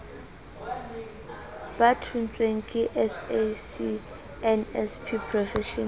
ba thontsweng ke sacnasp professional